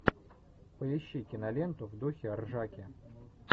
поищи киноленту в духе ржаки